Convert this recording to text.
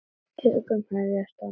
Tökur hefjast á næsta ári.